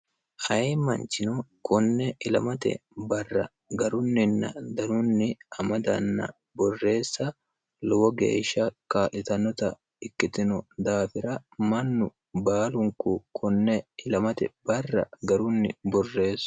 hayimmanchino konne ilamate barra garunninna danunni amadanna borreessa lowo geeshsha kaa'litannota ikkitino daafira mannu baalunku konne ilimate barra garunni borreessa